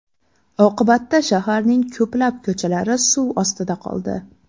Oqibatda shaharning ko‘plab ko‘chalari suv ostida qoldi .